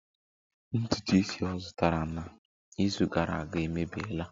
Ntutu isi ọ zụtara n'izu gara aga emebiela